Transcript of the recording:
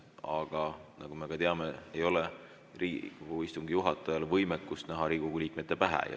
Aga nagu me ka teame, ei ole Riigikogu istungi juhatajal võimet näha Riigikogu liikmete pähe.